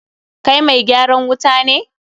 Kai mai gyaran wuta ne?